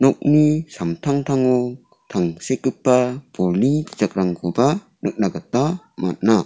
samtangtango tangsekgipa bolni bijakrangkoba nikna gita man·a.